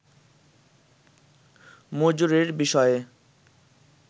মজুরির বিষয়ে